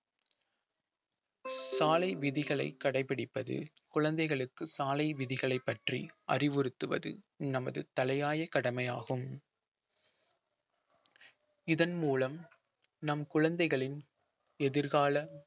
சாலை விதிகளை கடைபிடிப்பது குழந்தைகளுக்கு சாலை விதிகளை பற்றி அறிவுறுத்துவது நமது தலையாய கடமையாகும் இதன் மூலம் நம் குழந்தைகளின் எதிர்கால